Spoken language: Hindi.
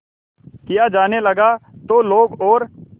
किया जाने लगा तो लोग और